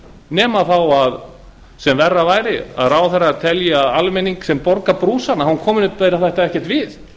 nema það sem verra væri að ráðherrar telji að almenningi sem borgar brúsann komi þetta ekkert við